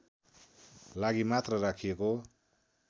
लागि मात्र राखिएको